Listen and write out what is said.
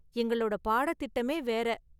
எங்களோட பாடத்திட்டமே வேற!